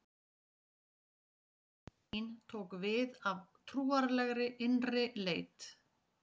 Veraldleg ytri sýn tók við af trúarlegri innri leit.